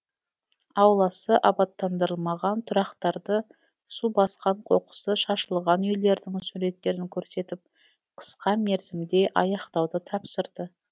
ауласы абаттандырылмаған тұрақтарды су басқан қоқысы шашылған үйлердің суреттерін көрсетіп қысқа мерзімде аяқтауды тапсырды